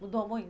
Mudou muito?